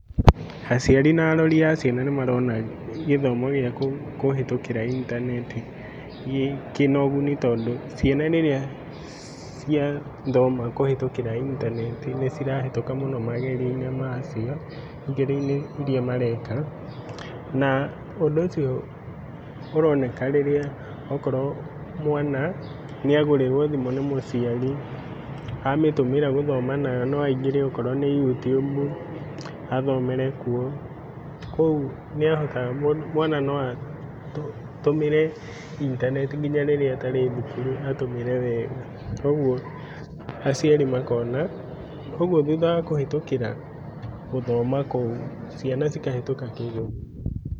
Aciari na arori a ciana nĩ marona gĩthomo gĩa kũhĩtũkĩra intaneti kĩna ũguni tondũ ciana rĩrĩa ciathoma kũhĩtũkĩra intaneti nĩcirahĩtũka mũno magerio-inĩ macio ,igerio inĩ iria mareka, na ũndũ ũcio ũroneka rĩrĩa okorwo mwana nĩagũrĩrwo thimũ nĩ mũciari amĩtũmĩra gũthoma nayo no aingĩre okorwo nĩ YouTube athomere kuo. Kũu mwana noatũmĩre intaneti nginya rĩrĩa atarĩ thukuru atũmĩre wega. Koguo aciari makoona, ũguo thuutha wa kũhĩtũkĩra gũthoma kũu ciana cikahĩtũka kĩgerio.